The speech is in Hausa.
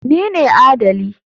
Ni ne adali.